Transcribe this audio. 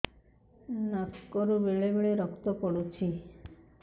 ନାକରୁ ବେଳେ ବେଳେ ରକ୍ତ ପଡୁଛି